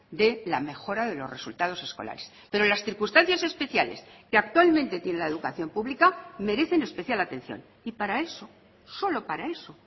de la mejora de los resultados escolares pero las circunstancias especiales que actualmente tiene la educación pública merecen especial atención y para eso solo para eso